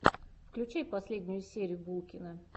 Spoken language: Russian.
включай последнюю серию булкина